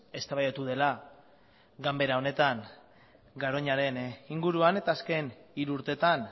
eztabaidatu dela ganbera honetan garoñaren inguruan eta azken hiru urteetan